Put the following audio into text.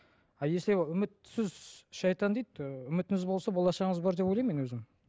а если үмітсіз шайтан дейді ы үмітіңіз босла болашағыңыз бар деп ойлаймын мен өзім